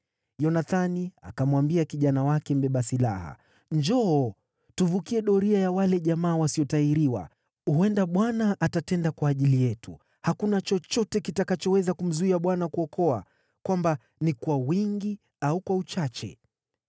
Yonathani akamwambia kijana wake mbeba silaha, “Njoo, tuvukie doria ya wale jamaa wasiotahiriwa. Huenda Bwana atatenda kwa ajili yetu. Hakuna chochote kitakachoweza kumzuia Bwana kuokoa, kwamba ni kwa wingi au kwa uchache.”